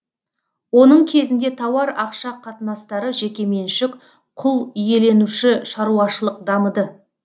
оның кезінде тауар ақша қатынастары жеке меншік құл иеленуші шаруашылық дамыды